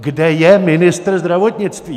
Kde je ministr zdravotnictví?